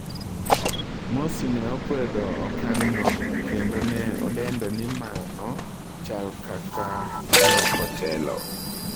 Morsi ne okwedo okang'no kkendo ne odendo ni mano chal kaka "loko telo"